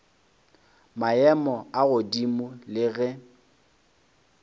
maemo a godimo le ge